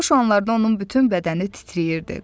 Bu xoş anlardan onun bütün bədəni titrəyirdi.